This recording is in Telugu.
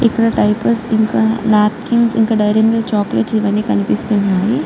ఇక్కడ డైపర్లు ఇంకా నాప్కిన్స్ ఇంకా డైరీ మిల్క్ చాకోలెట్స్ ఇవి అన్నీ కనిపిస్తున్నాయి.